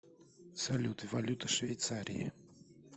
салют валюта швейцарии